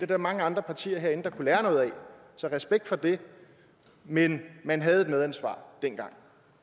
der mange andre partier herinde der kunne lære noget af så respekt for det men man havde et medansvar dengang